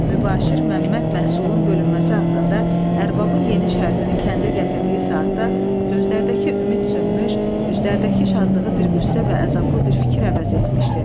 Mübaşir Məmməd məhsulun bölünməsi haqqında ərbabın yeni şərtini kəndə gətirdiyi saatda gözlərdəki ümid sönmüş, üzlərdəki şadlığı bir qüssə və əzablı bir fikir əvəz etmişdi.